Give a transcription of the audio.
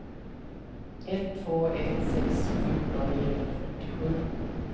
ett två ett sex fjorton niohundrafyrtiosju